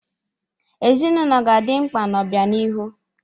Ezinụlọ ga na-adị mkpa n'obianihu.